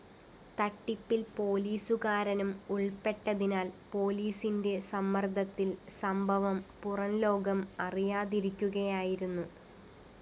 തട്ടിപ്പില്‍ പോലീസുകാരനും ഉള്‍പ്പെട്ടതിനാല്‍ പോലീസിന്റെ സമ്മര്‍ദ്ദത്തില്‍ സംഭവം പുറംലോകം അറിയാതിരിക്കുകയായിരുന്നു